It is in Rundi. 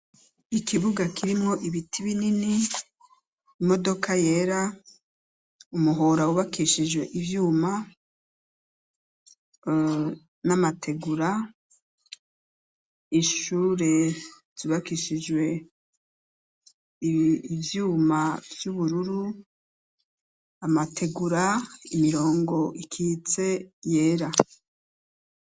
Ikibuga kirimwo ibiti binini, imodoka yera ,umuhora wubakishije ivyuma, n'amategura , ishure zubakishijwe ivyuma vy'ubururu, amategura, imirongo ikitse yera